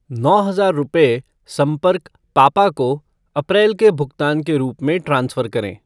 नौ हजार रुपये संपर्क पापा को अप्रैल के भुगतान के रूप में ट्रांसफ़र करें।